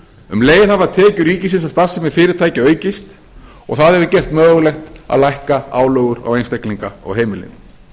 um leið hafa tekjur ríkisins af starfsemi fyrirtækja aukist og það hefur gert mögulegt að lækka álögur á einstaklinga og heimilin